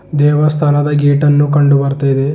ದೇವಸ್ಥಾನದ ಗೇಟ್ ಅನ್ನು ಕಂಡು ಬರ್ತಿದೆ.